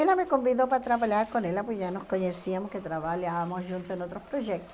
Ela me convidou para trabalhar com ela, porque já nos conhecíamos, que trabalhávamos juntos em outros projetos.